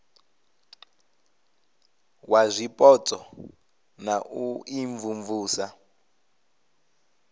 wa zwipotso na u imvumvusa